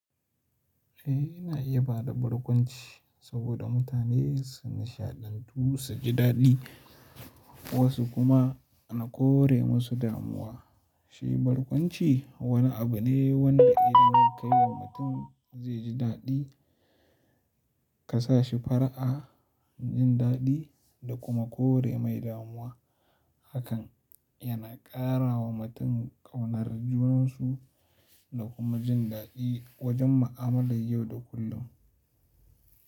Eh na iya bada barkwanci saboda mutane sun nishaɗantu su ji daɗi wasu kuma na kore musu damuwa. Shi barkwanci wani abu ne wanda idan ka yi wa mutum zai ji daɗi ka sa shi fara'a jin daɗi da kuma kore mai damuwa hakan yana ƙara wa mutum ƙaunar junansu da kuma jin daɗi wajen mu'amalar yau da kullum.